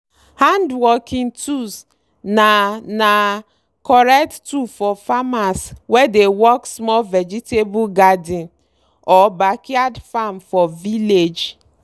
handworking tools na na correct tool for farmers wey dey work small vegetable garden or backyard farm for village.